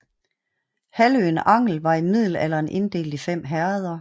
Halvøen Angel var i middelalderen inddelt i fem herreder